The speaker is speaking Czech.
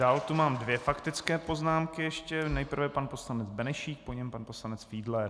Dál tu mám dvě faktické poznámky ještě, nejprve pan poslanec Benešík, po něm pan poslanec Fiedler.